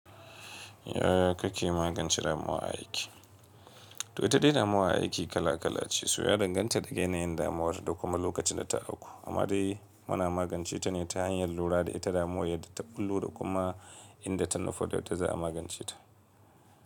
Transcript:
Yaya kake magance damuwa a aiki? To ita dai damuwa a aiki kala kala ce, so ya danganta daga yanayin damuwar da kuma lokacin da ta auku. Amma dai muna magance ta ne ta hanyar lura da ita damuwan yadda ta bullo da kuma inda ta nufa dab da za a magance ta.